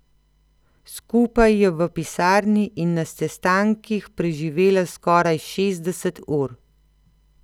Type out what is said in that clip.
Skupaj je v pisarni in na sestankih preživela skoraj šestdeset ur.